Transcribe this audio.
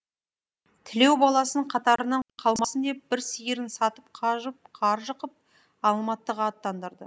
тілеу баласын қатарынан қалмасын деп бір сиырын сатып қаржы қып алматыға аттандырды